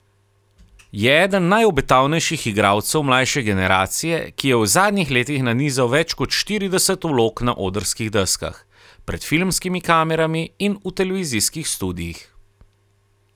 Je eden najobetavnejših igralcev mlajše generacije, ki je v zadnjih letih nanizal več kot štirideset vlog na odrskih deskah, pred filmskimi kamerami in v televizijskih studiih.